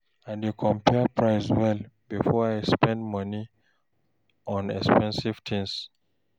I dey compare price well before I spend money on expensive things.